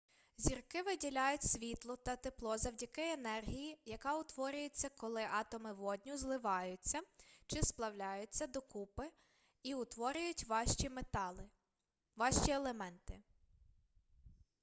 зірки виділяють світло та тепло завдяки енергії яка утворюється коли атоми водню зливаютья чи сплавляються докупи і утворюють важчі елементи